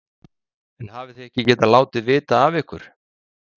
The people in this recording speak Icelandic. Eva Bergþóra Guðbergsdóttir: En hafið þið ekki getað látið vita af ykkur?